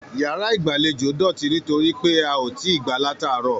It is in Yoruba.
Yàrá igbalejo dótì nitoripe a o tí gbà lataarọ̀.